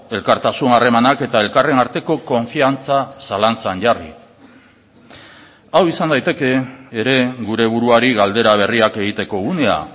elkartasun harremanak eta elkarren arteko konfiantza zalantzan jarri hau izan daiteke ere gure buruari galdera berriak egiteko unea